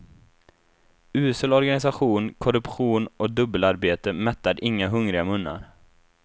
Usel organisation, korruption och dubbelarbete mättar inga hungriga munnar.